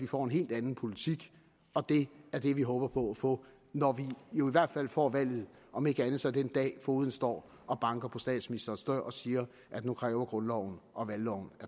får en helt anden politik og det er det vi håber på at få når vi får valget om ikke andet så den dag fogeden står og banker på statsministerens dør og siger nu kræver grundloven og valgloven